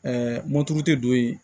moto tɛ don yen